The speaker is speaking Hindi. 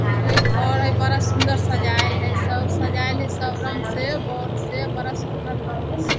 ऊ एक घर हय बड़ा सुन्दर सजायल हय सब सजायल है सब रंग से बोर्ड से बड़ा सुन्दर लगाय से।